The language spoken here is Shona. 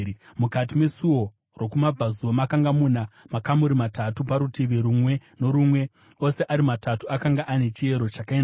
Mukati mesuo rokumabvazuva makanga muna makamuri matatu parutivi rumwe norumwe; ose ari matatu akanga ane chiyero chakaenzana.